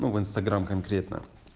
ну в инстаграм конкретно